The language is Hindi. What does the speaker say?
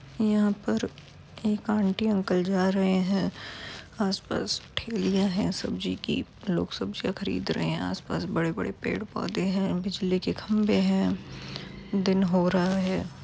यहां पर एक आंटी अंकल जा रहे हैं। आस-पास ठेलियाँ है सब्जी की लोग सब्जियां खरीद रहे हैं आस पास बड़े-बड़े पेड़ पौधे हैं बिजली के खम्बे हैं दिन हो रहा है।